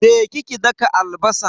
Je ki ki daka albasan.